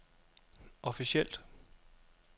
officielt